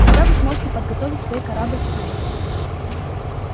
когда вы сможете подготовить свой корабль к вылету